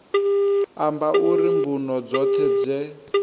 amba uri mbuno dzoṱhe dze